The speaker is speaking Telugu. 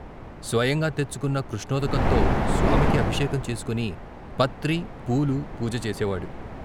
స్వయంగా తెచ్చుకున్న కృష్ణోదకంతో స్వామికి అభిషేకం చేసుకొని పత్రీ, పూలు పూజ చేసేవాడు.